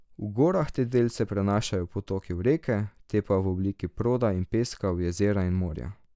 V gorah te delce prenašajo potoki v reke, te pa v obliki proda in peska v jezera in morja.